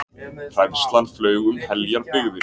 Hræðslan flaug um heljar byggðir.